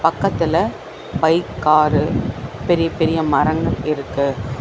பக்கத்துல bike car பெரிய பெரிய மரங்கள் இருக்கு.